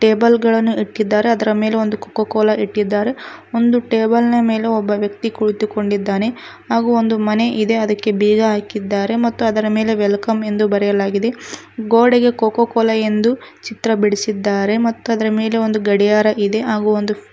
cable ಗಳನ್ನು ಇಕ್ಕಿದ್ದಾರೆ ಅದರ ಮೆಲೆ ಒಂದು ಕೋಕೋ ಕೋಲಾ ಇಟ್ಟಿದ್ದಾರೆ ಒಂದು ಟೇಬಲ್ನ ಮೇಲೆ ಒಬ್ಬ ವ್ಯಕ್ತಿ ಕುಳಿತು ಕೊಂಡಿದ್ದಾನೆ ಹಾಗು ಒಂದು ಮನೆ ಇದೆ ಅದಿಕೆ ಬೀಗ ಹಾಕಿದ್ದಾರೆ ಮತ್ತು ಅದರ ಮೇಲೆ ವೆಲಕಮ್ ಎಂದು ಬರೆಯಲಾಗಿದೆ ಗೋಡೆಗೆ ಕೋಕೋ ಕೋಲಾ ಎಂದು ಚಿತ್ರ ಬಿಡಿಸಿದ್ದಾರೆ ಮತ್ತು ಅದರ ಮೇಲೆ ಒಂದು ಗಡಿಯಾರ ಇದೆ ಹಾಗು ಒಂದು --